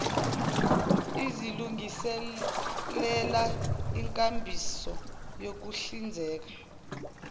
izilungiselela inkambiso yokuhlinzeka